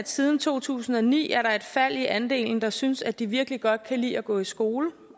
siden to tusind og ni er et fald i andelen der synes at de virkelig godt kan lide at gå i skole